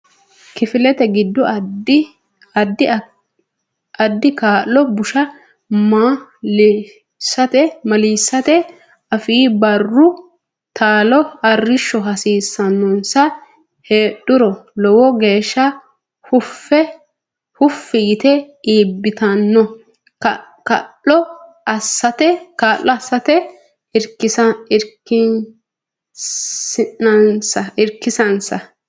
kifilete giddo addi kaa lo busha ma lisita afe Barru taalo arrishsho hasiissannonsa heedhuro lowo geeshsha huffi yite iibbitanno kaa lo assatenni irkisinsa.